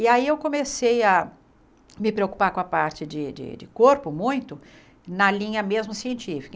E aí eu comecei a me preocupar com a parte de de de corpo muito, na linha mesmo científica.